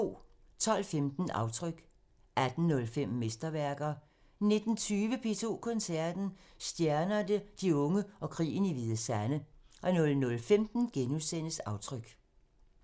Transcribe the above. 12:15: Aftryk 18:05: Mesterværker 19:20: P2 Koncerten – Stjernerne, de unge og krigen i Hvide Sande 00:15: Aftryk *